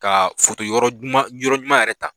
Ka foto yɔrɔ ɲuman yɛrɛ ta